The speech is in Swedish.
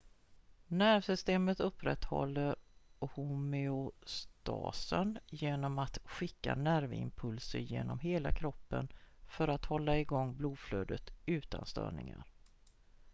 nervsystemet upprätthåller homeostasen genom att skicka nervimpulser genom hela kroppen för att hålla igång blodflödet utan störningar